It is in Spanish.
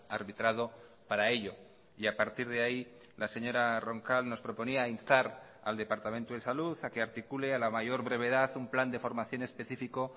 arbitrado para ello y a partir de ahí la señora roncal nos proponía instar al departamento de salud a que articule a la mayor brevedad un plan de formación específico